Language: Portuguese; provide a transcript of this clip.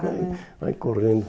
ah né. Vai correndo.